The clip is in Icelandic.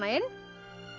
inn